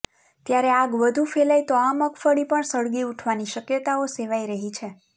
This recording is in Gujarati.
ત્યારે આગ વધુ ફેલાય તો આ મગફળી પણ સળગી ઉઠવાની શક્યતાઓ સેવાઇ રહી છે